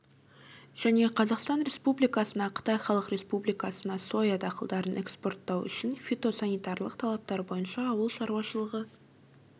және қазақстан республикасына қытай халық республикасына соя дақылдарын экспорттау үшін фитосанитарлық талаптар бойынша ауыл шаруашылығы